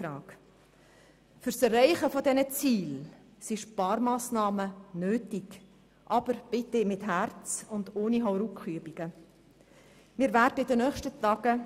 Zur Erreichung dieser Ziele sind Sparmassnahmen nötig, aber bitte mit Herz und ohne Hauruckübungen.